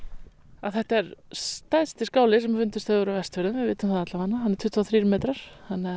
að þetta er stærsti skáli sem fundist hefur á Vestfjörðum við vitum það allavega hann er tuttugu og þrír metrar